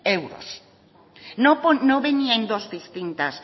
euros no venía en dos distintas